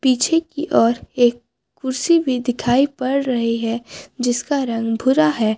पीछे की ओर एक कुर्सी भी दिखाई पड़ रही है जिसका रंग भुरा है।